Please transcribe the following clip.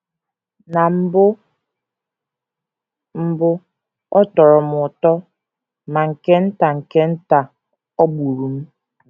Na mbụ mbụ, ọ tọrọ m ụtọ, ma nke nta nke nta ọ gbụrụ m.